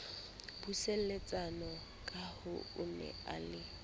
buseletsana kahoo o ne a